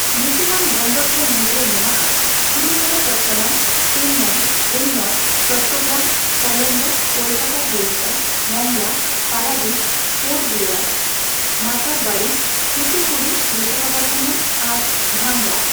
ᱧᱩᱛᱩᱢᱟᱱ ᱵᱚᱱᱫᱚᱨ ᱠᱚ ᱢᱩᱫᱨᱮ ᱢᱮᱱᱟᱜᱼᱟ ᱠᱤᱨᱤᱥᱚᱱᱚᱯᱚᱛᱛᱚᱱᱚᱢ, ᱪᱮᱱᱱᱟᱭ, ᱮᱱᱱᱚᱨ, ᱪᱚᱴᱴᱚᱜᱨᱟᱢ, ᱠᱚᱞᱚᱢᱵᱚ, ᱠᱚᱞᱠᱟᱛᱟᱼᱦᱚᱞᱫᱤᱭᱟ, ᱢᱚᱝᱞᱟ, ᱯᱟᱨᱟᱫᱤᱯ, ᱯᱳᱨᱴ ᱵᱞᱮᱭᱟᱨ, ᱢᱟᱛᱟᱨᱵᱟᱲᱤ, ᱛᱷᱩᱛᱷᱩᱠᱩᱰᱤ, ᱵᱤᱥᱟᱠᱷᱟᱯᱚᱛᱛᱚᱱᱚᱢ ᱟᱨ ᱫᱷᱟᱢᱨᱟ ᱾